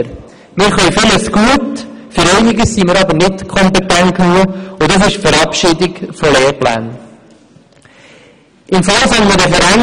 Wir können vieles gut, für einiges sind wir aber nicht kompetent genug, und das betrifft auch die Verabschiedung von Lehrplänen.